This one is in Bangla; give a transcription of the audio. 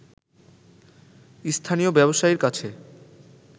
স্থানীয় ব্যবসায়ীর কাছে